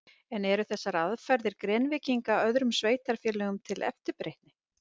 En eru þessar aðferðir Grenvíkinga öðrum sveitarfélögum til eftirbreytni?